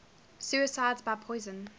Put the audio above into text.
suicides by poison